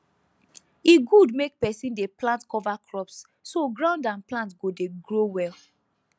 e good make person dey plant cover crops so ground and plant go dey grow well